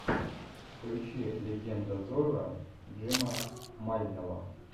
включи легенда зорро джима мального